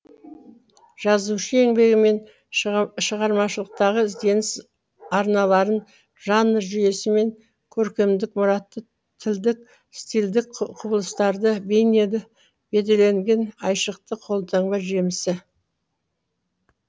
жазушы еңбегі мен шығармашылықтағы ізденіс арналарын жанр жүйесі мен көркемдік мұратты тілдік стильдік құбылыстарды бейнелі бедерлеген айшықты қолтаңба жемісі